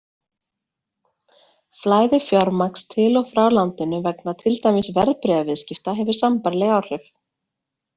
Flæði fjármagns til og frá landinu vegna til dæmis verðbréfaviðskipta hefur sambærileg áhrif.